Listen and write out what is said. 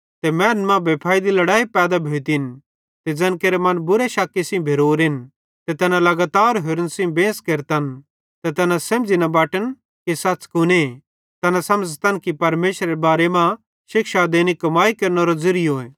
ते मैनन् मां बेफैइदी लड़ैई पैदा भोतिन ते ज़ैन केरे मन बुरे शक्की सेइं भेरोरेन ते तैना लगातार होरन सेइं बेंस केरतन ते तैना सेझ़ी न बटत कि सच़ कुने तैना समझ़तन परमेशरेरे बारे मां शिक्षा देनी कमाई केरनेरो ज़िरियोए